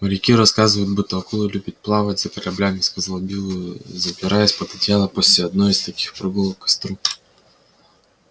моряки рассказывают будто акулы любят плавать за кораблями сказал билл забираясь под одеяло после одной из таких прогулок к костру